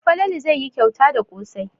Falalu zai yi kyauta da ƙosai.